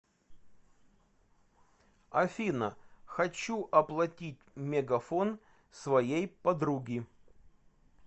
афина хочу оплатить мегафон своей подруги